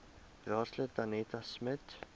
raadslid danetta smit